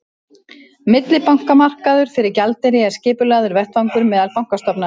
Millibankamarkaður fyrir gjaldeyri er skipulagður vettvangur meðal bankastofnana.